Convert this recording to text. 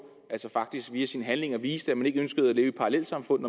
altså faktisk via sine handlinger viser at man ikke ønsker at leve i parallelsamfund